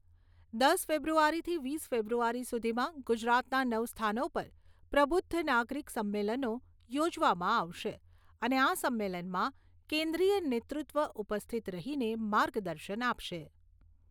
દસ ફેબ્રુઆરીથી વીસ ફેબ્રુઆરી સુધીમાં ગુજરાતમાં નવ સ્થાનો પર "પ્રબુધ્ધ નાગરીક સંમેલનો" યોજવામાં આવશે અને આ સંમેલનમાં કેન્દ્રીય નેતૃત્વ ઉપસ્થિત રહીને માર્ગદર્શન આપશે.